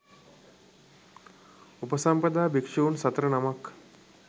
උපසම්පදා භික්ෂූන් සතර නමක්